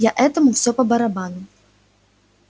я этому всё по-барабану